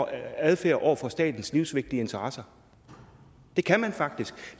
adfærd over for statens livsvigtige interesser det kan man faktisk